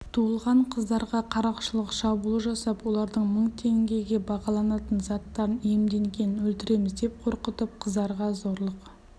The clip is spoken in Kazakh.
туылған қыздарға қарақшылық шабуыл жасап олардың мың тенгеге бағаланатын заттарыниемденген өлтіреміз деп қорқытып қыздарға зорлық